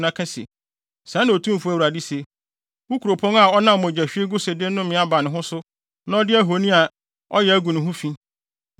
na ka se: ‘Sɛɛ na Otumfo Awurade se: Wo kuropɔn a ɔnam mogyahwiegu so de nnome aba ne ho so na ɔde ahoni a ɔyɛ agu ne ho fi,